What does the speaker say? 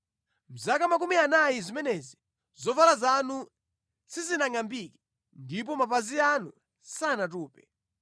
Mʼzaka makumi anayi zimenezi, zovala zanu sizinangʼambike ndipo mapazi anu sanatupe.